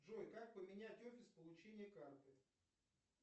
джой как поменять офис получения карты